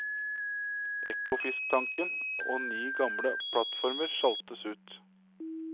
Ekofisktanken og ni gamle plattformer sjaltes ut.